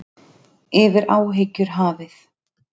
Yfir áhyggjur hafið.